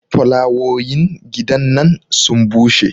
folawoyin gidan nan sun bushe